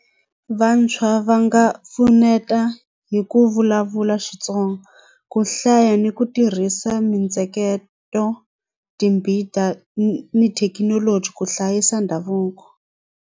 Vantshwa va nga pfuneta hi ku vulavula Xitsonga ku hlaya ni ku tirhisa mintsheketo timbita ni thekinoloji ku hlayisa ndhavuko.